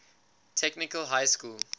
technical high school